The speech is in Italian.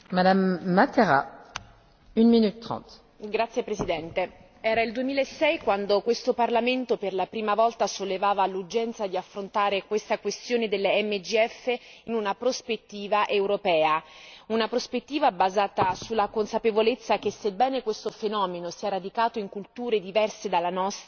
Signora Presidente, onorevoli colleghi, era il 2006 quando questo Parlamento, per la prima volta, sollevava l'urgenza di affrontare la questione delle MGF in un prospettiva europea, una prospettiva basata sulla consapevolezza che, sebbene questo fenomeno sia radicato in culture diverse dalla nostra,